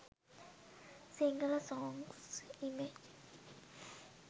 sinhala songs image